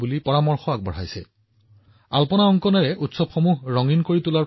আমাৰ বহু শতাব্দী ধৰি ৰংগোলীৰ জৰিয়তে উৎসৱত ৰং কৰাৰ পৰম্পৰা আছে